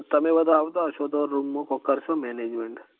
તમે બધા આવતા હશો તો room નું કોક કરશું management